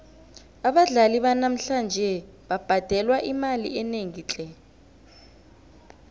abadlali banamhlanje babhadelwa imali enengi tle